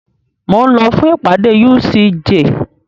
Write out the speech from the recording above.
Mo ń lọ fún ìpàdé UCJ.